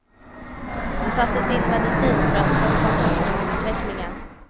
Det sattes in medicin för att stoppa sjukdomsutvecklingen.